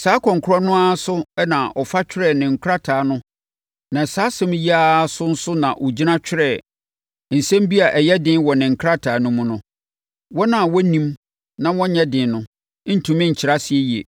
Saa ɛkwan korɔ no ara so na ɔfa twerɛɛ ne nkrataa no na saa nsɛm yi ara so nso na ɔgyina twerɛeɛ. Nsɛm bi a ɛyɛ den wɔ ne nkrataa no mu no, wɔn a wɔnnim na wɔnnyɛ den no ntumi nkyerɛ aseɛ yie.